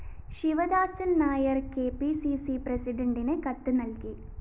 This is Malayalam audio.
Sivadasan‍ Nair‍ K P C C പ്രസിഡണ്ടിന് കത്ത് നല്‍കി